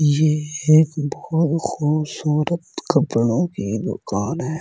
ये एक बहो खूबसूरत कपड़ों की दुकान है।